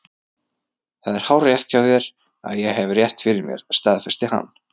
Það er hárrétt hjá þér að ég hef rétt fyrir mér, staðfesti hann.